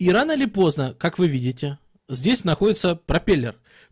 и рано или поздно как вы видите здесь находится пропеллер